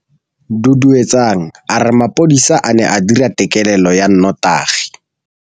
Duduetsang a re mapodisa a ne a dira têkêlêlô ya nnotagi.